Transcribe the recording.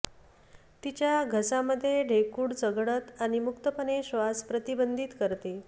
तिच्या घसा मध्ये ढेकूळ चघळत आणि मुक्तपणे श्वास प्रतिबंधित करते